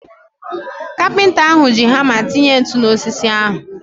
Kapịnta ahu ji hama tinye ntụ na osisi ahu